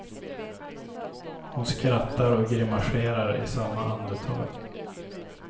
Hon skrattar och grimaserar i samma andetag.